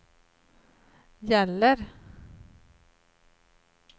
gäller